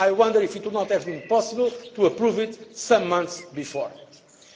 I wonder if it would not have been possible to approve it some months